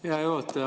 Hea juhataja!